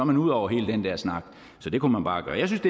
man ude over hele den der snak så det kunne man bare gøre jeg synes